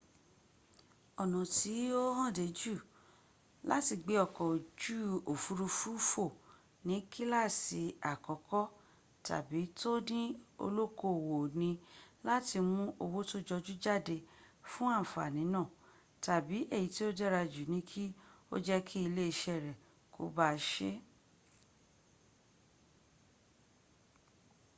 ọ̀nà tí ó hànde jù láti gbé ọkọ̀ ojú òfúrufú fò ní kílàsì àkọ́kọ́ tàbí to ní olókoòwò ni láti mún owó tó jọjú jáde fún àǹfàní náà tàbí èyí tí ó dára jù ni kí ó jẹ́ kí ilé iṣẹ́ rẹ̀ kó bá a se